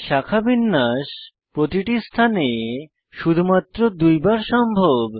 শাখাবিন্যাস প্রতিটি স্থানে শুধুমাত্র দুইবার সম্ভব